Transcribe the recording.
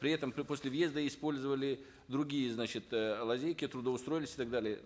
при этом после въезда использовали другие значит э лазейки трудоустроились и так далее